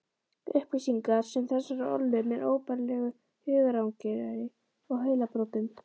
Upplýsingar sem þessar ollu mér óbærilegu hugarangri og heilabrotum.